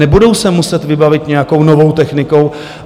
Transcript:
Nebudou se muset vybavit nějakou novou technikou?